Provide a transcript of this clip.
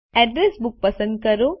address books પસંદ કરો